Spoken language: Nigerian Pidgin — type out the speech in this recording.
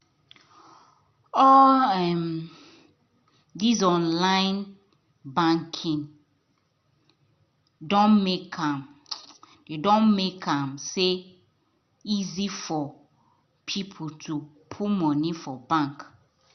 all these online banking doh make am doh make am easy for people to put money for bank